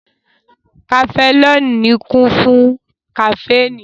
Kafẹnọli kún fún kaféìnì